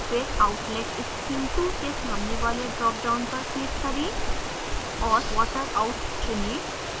फिर outlet stream 2 के सामने वाले dropdown पर click करें